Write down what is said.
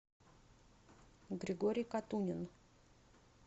григорий катунин